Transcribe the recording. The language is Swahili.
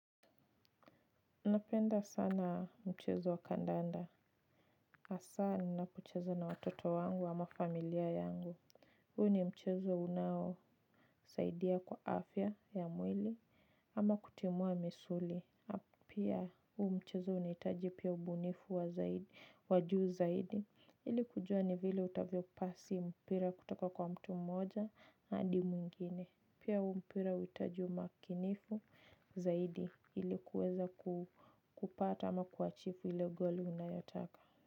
Napenda sana mchezo wa kandanda. Hasa ninapo cheza na watoto wangu ama familia yangu. Huu ni mchezo unao saidia kwa afya ya mwili ama kutimua misuli. Pia huu mchezo unahitaji pia ubunifu wajuu zaidi. Ili kujua ni vile utavyo pasi mpira kutoka kwa mtu mmoja hadi mwingine. Pia huu mpira huhitaji umakinifu zaidi ilikuweza kupata ama kuachifu ile goli unayotaka.